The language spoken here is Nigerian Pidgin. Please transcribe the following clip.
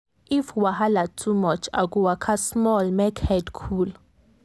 if wahala too much i go waka small make head cool.